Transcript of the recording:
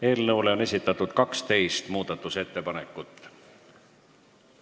Eelnõu kohta on esitatud 12 muudatusettepanekut.